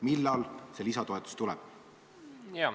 Millal see lisatoetus tuleb?